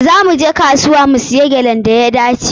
Za mu je kasuwa mu siya gyalan da ya dace.